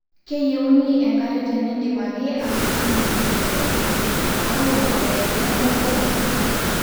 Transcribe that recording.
keyieuni enkare tenidip ake atuuno e mbeku, maua oo engira embeku abulu